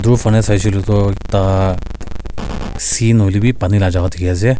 aru efelw sai se koile tu ekta sea nohoole bhi pani laga jagah dekhi ase.